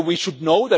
We should know